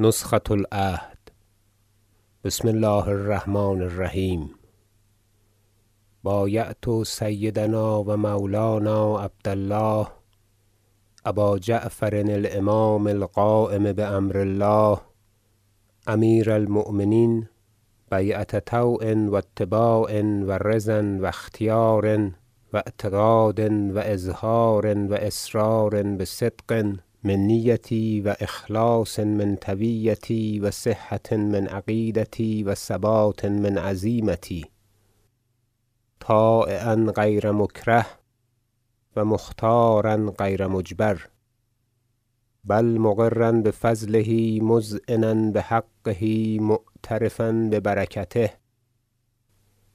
نسخة العهد بسم الله الرحمن الرحیم بایعت سیدنا و مولانا عبد الله ابا جعفر الامام القایم بامر الله امیر المؤمنین بیعة طوع و اتباع و رضی و اختیار و اعتقاد و اظهار و اسرار بصدق من نیتی و اخلاص من طویتی و صحة من عقیدتی و ثبات من عزیمتی طایعا غیر مکره و مختارا غیر مجبر بل مقرا بفضله مذعنا بحقه معترفا ببرکته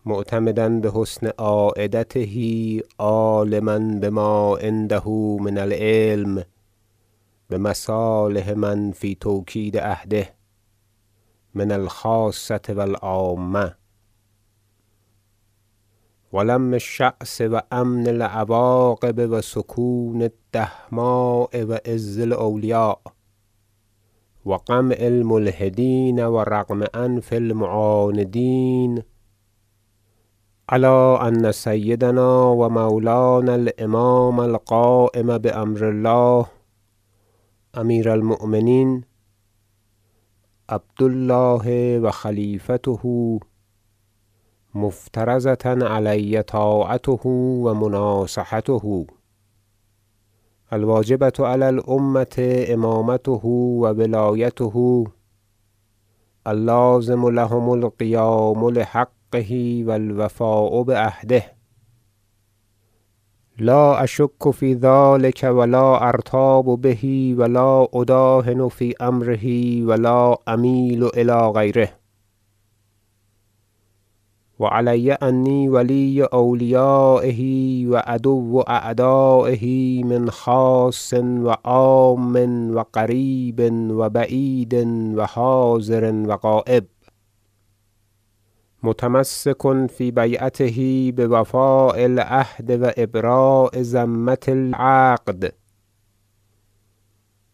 معتمدا بحسن عایدته عالما بما عنده من العلم بمصالح من فی توکید عهده من الخاصة و العامة و لم الشعث و امن العواقب و سکون الدهماء و عز الاولیاء و قمع الملحدین و رغم انف المعاندین علی ان سیدنا و مولانا الإمام القایم بامر الله امیر المؤمنین عبد الله و خلیفته مفترضة علی طاعته و مناصحته الواجبة علی الامة امامته و ولایته اللازم لهم القیام لحقه و الوفاء بعهده لا اشک فی ذلک و لا ارتاب به و لا اداهن فی امره و لا امیل الی غیره و علی انی ولی اولیایه و عدوا اعدایه من خاص و عام و قریب و بعید و حاضر و غایب متمسک فی بیعته بوفاء العهد و ابراء ذمة العقد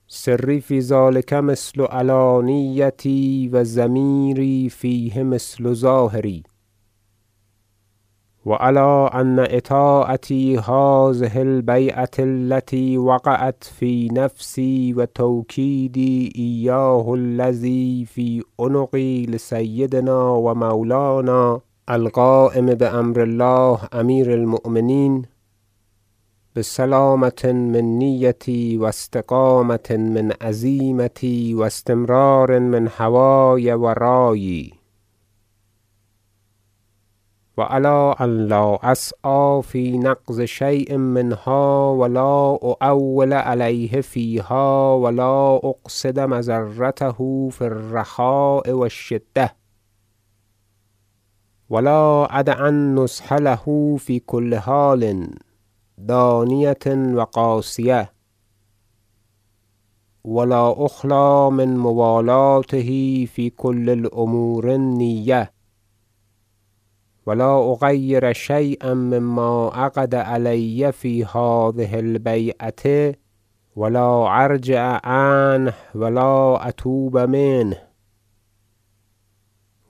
سری فی ذلک مثل علانیتی و ضمیری فیه مثل ظاهری و علی ان اطاعتی هذه البیعة التی وقعت فی نفسی و توکیدی ایاه الذی لزم فی عنقی لسیدنا و مولانا القایم بامر الله امیر المؤمنین بسلامة من نیتی و استقامة من عزیمتی و استمرار من هوای و رایی و علی ان لا اسعی فی نقض شی ء منها و لا اؤول علیه فیها و لا اقصد مضرته فی الرخاء و الشدة و لا ادع النصح له فی کل حال دانیة و قاصیة و لا اخلی من موالاته فی کل الامور النیة و لا اغیر شییا مما عقد علی فی هذه- البیعة و لا ارجع عنه و لا اتوب منه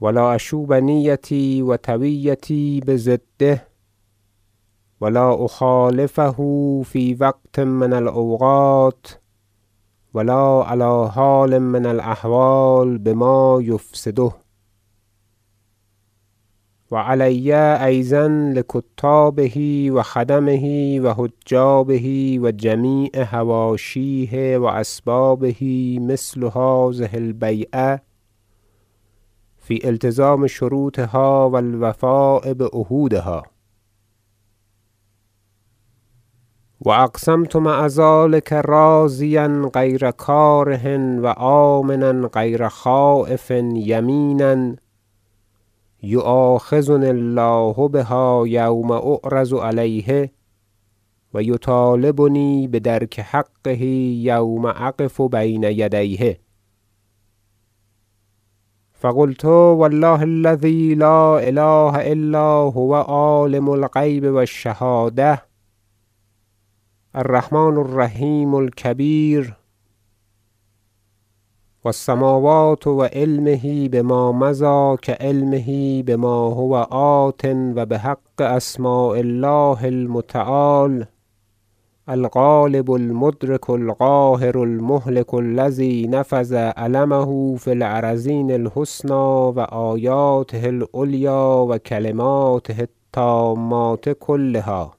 و لا اشوب نیتی و طویتی بضده و لا اخالفه فی وقت من الاوقات و لا علی حال من الاحوال بما یفسده و علی ایضا لکتابه و خدمه و حجابه و جمیع حواشیه و اسبابه مثل هذه البیعة فی التزام شروطها و الوفاء بعهودها و اقسمت مع ذلک راضیا غیر کاره و آمنا غیر خایف یمینا یؤاخذنی الله بها یوم اعرض علیه و یطالبنی بدرک حقه یوم اقف بین یدیه فقلت و الله الذی لا اله الا هو عالم الغیب و الشهادة الرحمن الرحیم الکبیر و السموات و علمه بما مضی کعلمه بما هو آت و بحق اسماء الله المتعال الغالب المدرک القاهر المهلک الذی نفذ علمه فی- الارضین الحسنی و آیاته العلیاء کلماته التامات کلها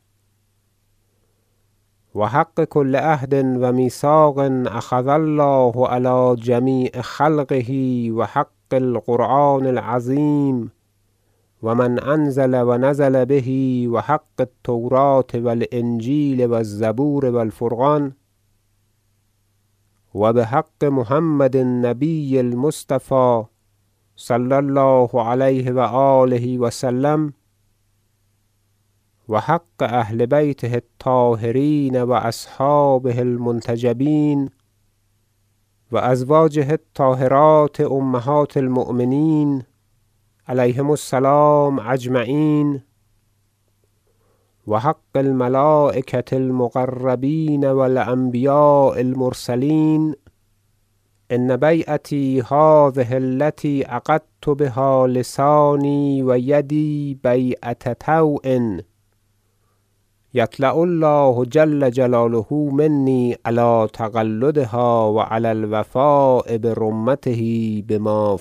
و حق کل عهد و میثاق اخذ الله علی جمیع خلقه و حق القران العظیم و من انزل و نزل به و حق التوریة و الانجیل و الزبور و الفرقان و بحق محمد النبی المصطفی صلی الله علیه و آله و سلم و حق اهل بیته الطاهرین و اصحابه المنتجبین و ازواجه الطاهرات امهات المؤمنین علیهم- السلام اجمعین و حق الملایکة المقربین و الانبیاء المرسلین أن بیعتی هذه التی عقدت بها لسانی و یدی بیعة طوع یطلع الله جل جلاله منی علی تقلدها و علی الوفاء برمته بما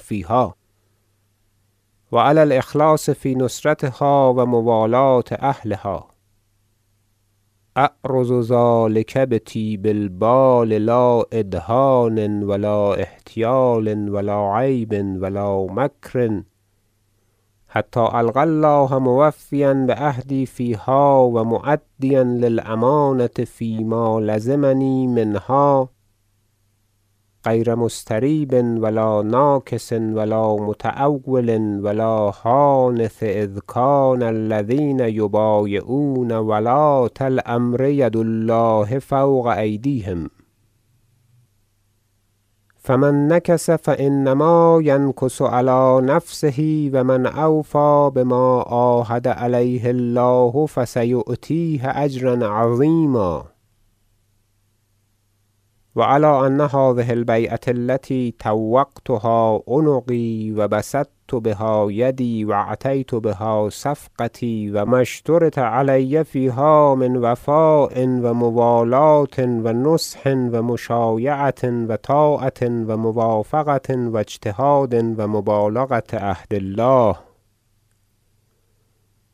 فیها و علی الإخلاص فی نصرتها و موالاة اهلها اعرض ذلک بطیب البال لا ادهان و لا احتیال و لا عیب و لا مکر حتی القی الله موفیا بعهدی فیها و مؤدبا للامانة فیما لزمنی منها غیر مستریب و لا ناکث و لا متأول و لا حانث اذ کان الذین یبایعون ولاة- الامر ید الله فوق أیدیهم فمن نکث فانما ینکث علی نفسه و من اوفی بما عاهد علیه الله فسیؤتیه اجرا عظیما و علی ان هذه البیعة التی طوقتها عنقی و بسطت بها یدی و اعطیت بها صفقتی و ما اشترط علی فیها من وفاء و موالاة و نصح و مشایعة و طاعة و موافقة و اجتهاد و مبالغة عهد الله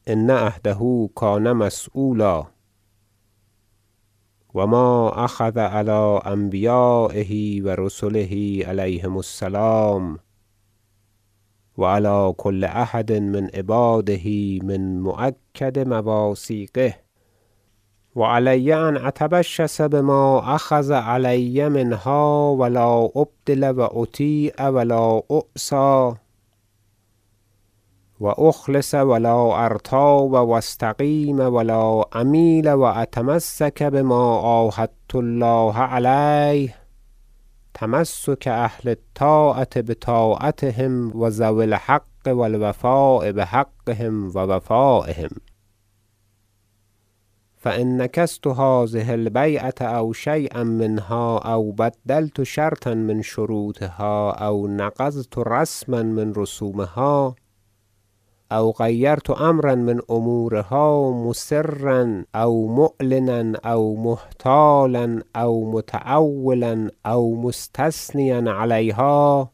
ان عهده کان عنه مسیولا و ما اخذ علی انبیایه و رسله علیهم السلام و علی کل احد من عباده من مؤکد مواثیقه و علی ان اتشبث بما اخذ علی منها و لا ابدل و اطیع و لا اعصی و اخلص و لا ارتاب و استقیم و لا امیل و اتمسک بما عاهدت الله علیه تمسک اهل الطاعة بطاعتهم و ذوی الحق و الوفاء بحقهم و وفایهم فان نکثت هذه البیعة او شییا منها او بدلت شرطا من شروطها او نقضت رسما من رسومها او غیرت امرا من امورها مسرا او معلنا او محتالا او متأولا او مستثنیا علیها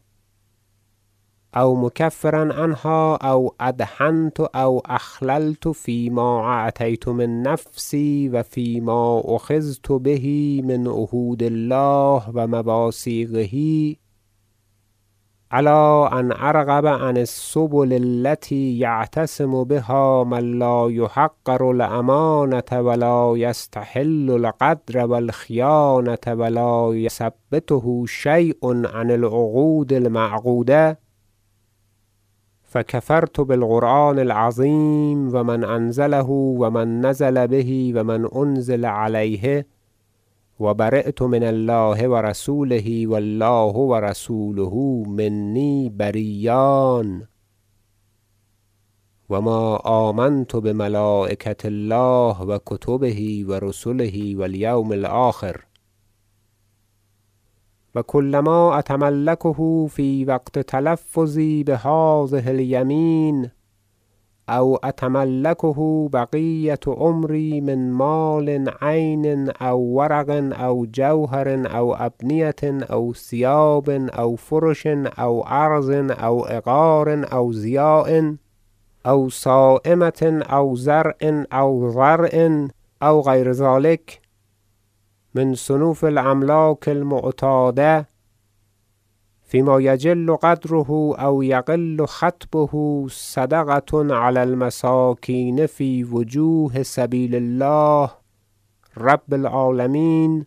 او مکفرا عنها او ادهنت او اخللت فیما اعطیت من نفسی و فیما اخذت به من عهود الله و مواثیقه علی ان ارغب عن السبل التی یعتصم بها من لا یحقر الامانة و لا یستحل الغدر و الخیانة و لا یثبطه شی ء عن العقود المعقودة فکفرت بالقران العظیم و من انزله و من نزل به و من انزل علیه و بریت من الله و رسوله و الله و رسوله منی برییان و ما آمنت بملایکة الله و کتبه و رسله و الیوم الآخر و کلما اتملکه فی وقت تلفظی بهذه الیمین او اتملکه بقیة عمری من مال عین او ورق او جوهر او ابنیة او ثیاب او فرش او عرض او عقار او ضیاع او سایمة او زرع او ضرع او غیر ذلک من صنوف الاملاک المعتادة مما یجل قدره او یقل خطبه صدقة علی المساکین فی وجوه سبیل الله رب العالمین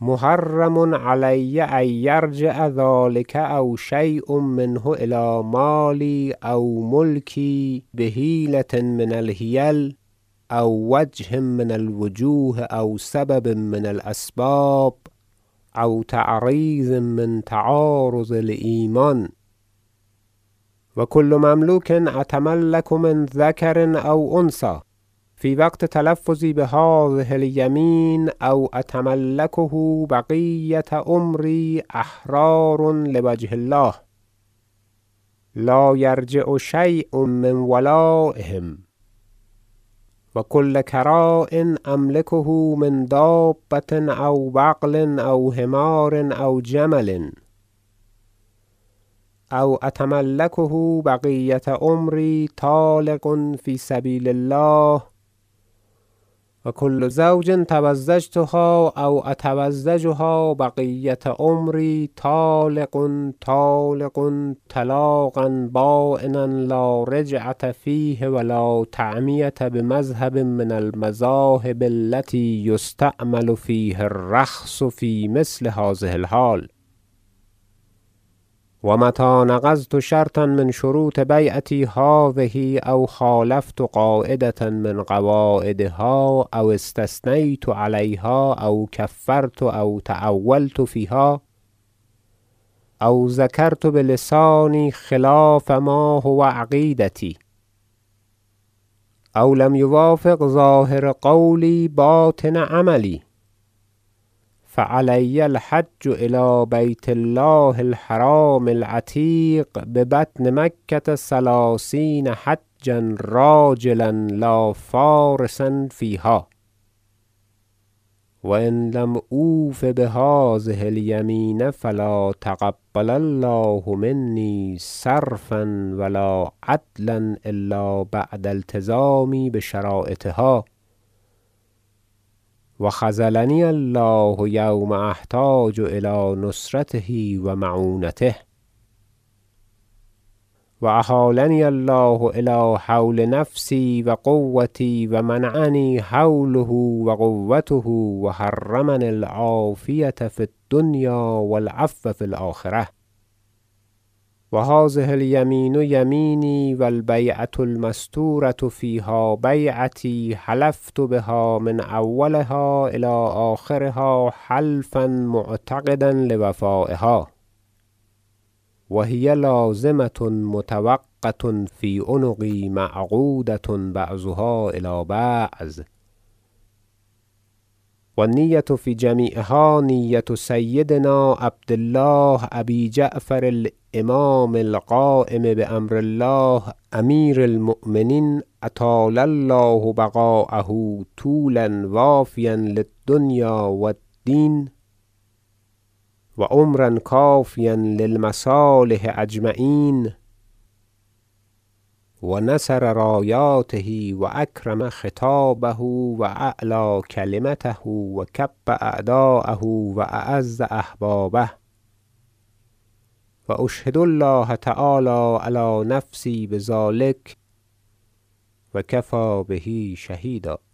محرم علی ان یرجع ذلک او شی ء منه الی مالی و ملکی بحیلة من الحیل او وجه من الوجوه او سبب من الاسباب او تعریض من تعاریض الایمان و کل مملوک اتملک من ذکر او انثی فی وقت تلفظی بهذه الیمین او اتملکه بقیة عمری احرار لوجه الله لا یرجع شی ء من ولایهم و کل کراع املکه من دابة او بغل او حمار او جمل او اتملکه بقیة عمری طالق فی سبیل الله و کل زوج تزوجتها او اتزوجها بقیة عمری طالق طالق طالق طلاقا باینا لارجعة فیه و لا تعمیة بمذهب من المذاهب التی یستعمل فیه الرخص فی مثل هذه الحال و متی نقضت شرطا من شروط بیعتی هذه او خالفت قاعدة من قواعدها او استثنیت علیها او کفرت او تأولت فیها او ذکرت بلسانی خلاف ما هو عقیدتی او لم یوافق ظاهر قولی باطن عملی فعلی الحج الی بیت الله الحرام العتیق ببطن مکة ثلثین حجا راجلا لا فارسا فیها و ان لم اوف بهذه الیمین فلا تقبل الله منی صرفا و لا عدلا الا بعد التزامی بشرایطها و خذلنی الله یوم احتاج الی نصرته و معونته و احالنی الله الی حول نفسی و قوتی و منعنی حوله و قوته و حرمنی العافیة فی الدنیا و العفو فی الآخرة و هذه الیمین یمینی و البیعة المسطورة فیها بیعتی حلفت بها من اولها الی آخرها حلفا معتقدا لوفایها و هی لازمة مطوقة فی عنقی معقودة بعضها الی بعض و النیة فی جمیعها نیة سیدنا عبد الله ابی جعفر الامام القایم بامر الله امیر المؤمنین اطال الله بقاءه طولا وافیا للدنیا و الدین و عمرا کافیا للمصالح اجمعین و نصر رایاته و اکرم خطابه و اعلی کلمته و کب اعدایه و اعز احبابه و اشهد الله تعالی علی نفسی بذلک و کفی به شهیدا